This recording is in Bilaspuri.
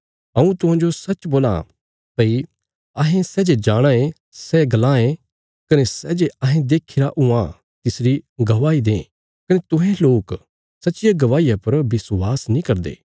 हऊँ तुहांजो सच्च बोलां भई अहें सै जे जाणाँ ए सैई बोलां ए कने अहें सै जे देक्खीरा तिसरी ही गवाही दें कने सै जे अहें बोलां ए तिस पर तुहें विश्वास नीं करदे